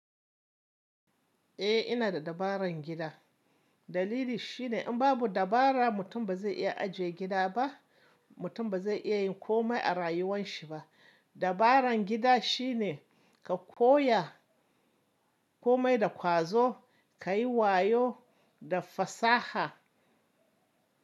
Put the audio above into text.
Eh ina da dabarar gida. Dalili shine in babu dabara mutum ba zai iya ajiye gida ba, mutum ba zai iya yin komai a rayuwan shi ba. Dabaran gida shine ka koya komai da ƙwazo, ka yi wayo da fasaha.